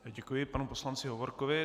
Děkuji panu poslanci Hovorkovi.